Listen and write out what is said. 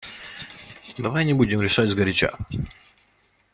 давай не будем решать сгоряча